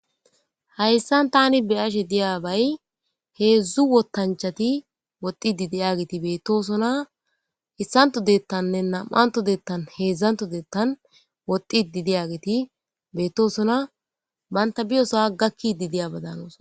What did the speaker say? Hayssan tani be'ashe diyabay heedzdzu wottanchchati woxxidi diyoga beetosona. Issantto deettanne na'antto deettanne heezzantto deettan woxxidi diyageti beetosona. Banta biyosa gakkidi diyabadan hanosona.